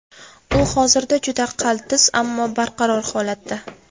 U hozirda juda qaltis, ammo barqaror holatda.